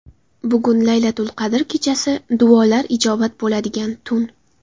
Bugun Laylatul-qadr kechasi duolar ijobat bo‘ladigan tun.